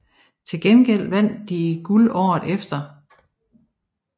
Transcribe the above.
Til gengæld vandt de guld året efter